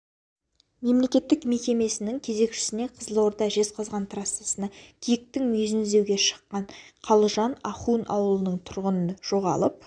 мемлекеттік мекемесінің кезекшісіне қызылорда жезқазған трассасына киіктің мүйізін іздеуге шыққан қалжан ахун ауылының тұрғыны жоғалып